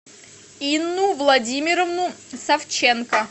инну владимировну савченко